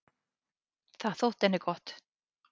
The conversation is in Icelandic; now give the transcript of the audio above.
Það þótti henni gott.